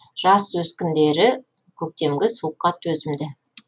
жас өскіндері көктемгі суыққа төзімді